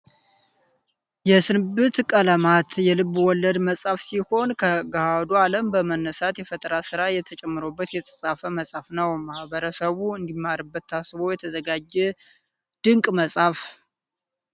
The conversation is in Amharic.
የስንብት ቀለማት የልብ ወለድ መፅሐፍ ሲሆን ከገሃዱ አለም በመነሳት የፈጠራ ስራ ተጨምሮበት የተፃፈ መፅሀፍ ነው። ማህበረሰቡ እንዲማርበት ታስቦ የተዘጋጀ ድንቅ መፅሀፈ